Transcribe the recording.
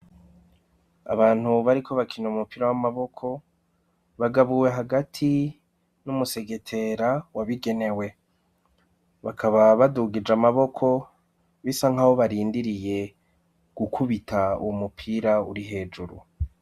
Abantu bariko bakina umupira w'amaboko bagabuwe hagati n'umusegetera wabigenewe. Bakaba badugije amaboko bisa nk'aho barindiriye gukubita uwomupira uri hejuru.